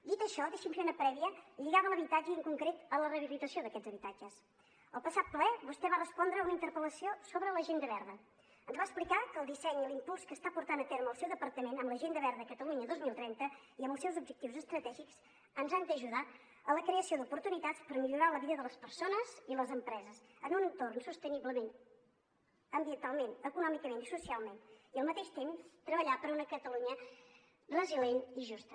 dit això deixi’m fer una prèvia lligada a l’habitatge i en concret a la rehabilitació d’aquests habitatges el passat ple vostè va respondre a una interpel·lació sobre l’agenda verda ens va explicar que el disseny i l’impuls que està portant a terme el seu departament amb l’agenda verda catalunya dos mil trenta i amb els seus objectius estratègics ens han d’ajudar a la creació d’oportunitats per millorar la vida de les persones i les empreses en un entorn sostenible ambientalment econòmicament i socialment i al mateix temps treballar per una catalunya resilient i justa